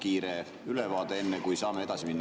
Võib-olla kiire ülevaade, enne kui saame edasi minna.